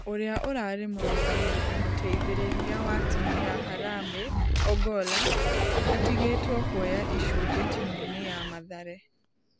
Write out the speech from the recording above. Ũria ũrare mũrugamĩrĩri mũteithereria wa timũ ya harambee ogolla atigetwo kuoya icunje timũ-inĩ ya mathare.